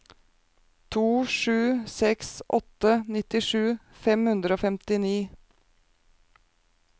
to sju seks åtte nittisju fem hundre og femtini